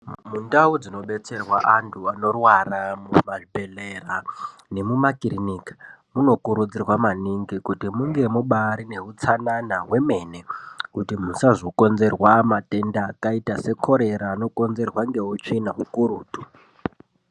Mundau dzinodetserwa antu anorwara mumabhedhlera nemumakiriniki munokurudzirwa maningi kuti munge mubari neutsanana hwemene kuti musazokonzerwa matenda akaita sekorera anokonzerwa ngeutsvina ukurutu.